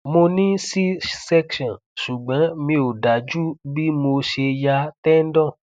mo ní c section ṣùgbọn mi ò dájú bí mo ṣe ya tendon